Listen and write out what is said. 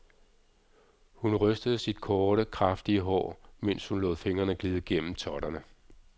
Hun rystede sit korte, kraftige hår, mens hun lod fingrene glide gennem totterne.